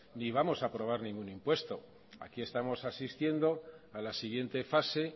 ni vamos a aprobar ningún impuesto aquí estamos asistiendo a la siguiente fase